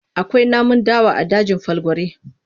Akwai namun dawa a dajin Falgore.